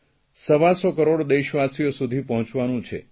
સવાસો કરોડ દેશવાસીઓ સુધી પહોંચાડવાનું છે